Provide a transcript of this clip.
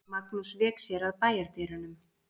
Magnús vék sér að bæjardyrunum.